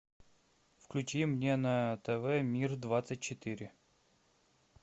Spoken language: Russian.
включи мне на тв мир двадцать четыре